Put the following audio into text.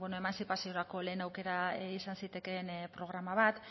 emantzipaziorako lehen aukera izan zitekeen programa bat